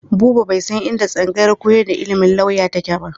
Buba bai san inda tsangayar koyar da ilimin lauya take ba.